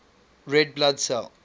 red blood cell